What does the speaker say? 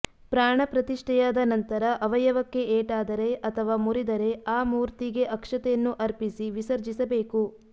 ಪ್ರಾಣಪ್ರತಿಷ್ಠೆಯಾದ ನಂತರ ಅವಯವಕ್ಕೆ ಏಟಾದರೆ ಅಥವಾ ಮುರಿದರೆ ಆ ಮೂತರ್ಿಗೆ ಅಕ್ಷತೆಯನ್ನು ಅಪರ್ಿಸಿ ವಿಸಜರ್ಿಸಬೇಕು